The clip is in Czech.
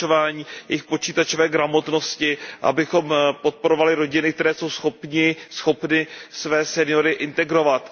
zvyšování jejich počítačové gramotnosti, abychom podporovali rodiny, které jsou schopny své seniory integrovat.